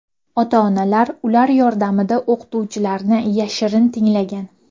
Ota-onalar ular yordamida o‘qituvchilarni yashirin tinglagan.